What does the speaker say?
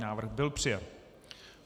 Návrh byl přijat.